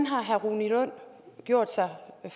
har herre rune lund gjort sig om at